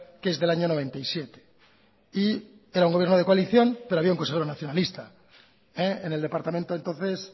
que es del año noventa y siete y era un gobierno de coalición pero había un consejero nacionalista en el departamento entonces